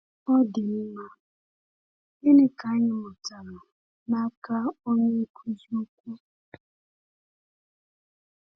Ọ dị mma, gịnị ka anyị mụtara n’aka Onye Nkuzi Ukwu?